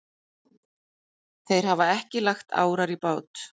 Þeir hafa ekki lagt árar í bát.